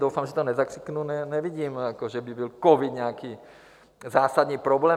Doufám, že to nezakřiknu, nevidím, že by byl covid nějaký zásadní problém.